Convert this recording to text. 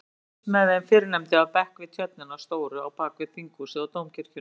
Ég fylgist með þeim fyrrnefndu af bekk við tjörnina stóru á bakvið Þinghúsið og Dómkirkjuna.